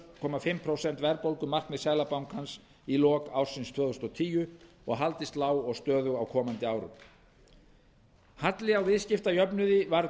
og hálft prósent verðbólgumarkmið seðlabankans í lok ársins tvö þúsund og tíu og haldist lág og stöðug á komandi árum halli á viðskiptajöfnuði varð